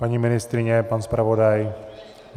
Paní ministryně, pan zpravodaj?